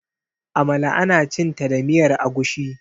amala ana cinta da miyar agushi